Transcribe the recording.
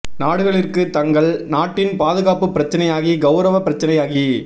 நாடுகளிற்கு தங்கள் நாட்டின் பாதுகாப்பு பிரச்சனையாகி கெளரவ பிரச்சனையாகி